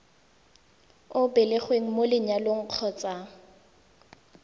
o belegweng mo lenyalong kgotsa